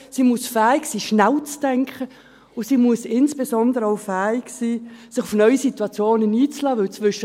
Sie muss fähig sein, schnell zu denken, und sie muss insbesondere auch fähig sein, sich auf neue Situationen einzulassen.